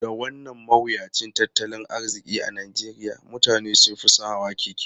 Da wannan mawuyacin tattalin arziki a Najeriya, mutane sun fi son hawan keke.